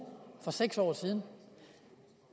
for seks år siden